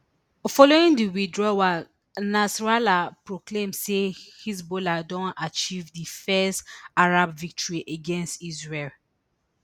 following di withdrawal nasrallah proclaim say hezbollah don achieve di first arab victory against israel